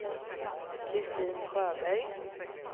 Kristin Sjöberg